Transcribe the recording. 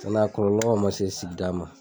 N dɛ a kɔlɔlɔ ma se sigida ma